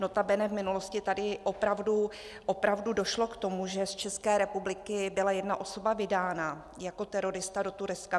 Notabene v minulosti tady opravdu došlo k tomu, že z České republiky byla jedna osoba vydána jako terorista do Turecka.